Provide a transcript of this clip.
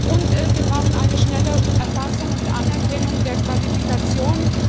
Und wir brauchen eine schnelle Erfassung und Anerkennung der Qualifikationen.